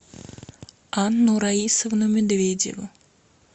анну раисовну медведеву